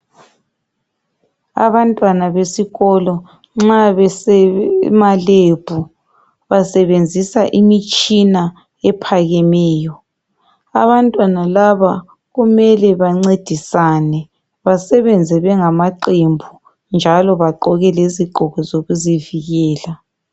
Abantwana besikolo nxa besemaLab, basebenzisa imitshina ephakemeyo. Abantwana laba, kumele bancedisane, basebenze bengamaqembu, njalo bagqoke izigqoko zokuzivikela.